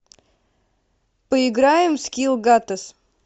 поиграем в скилл гатес